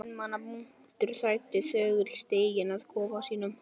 Einstaka einmana munkur þræddi þögull stíginn að kofa sínum.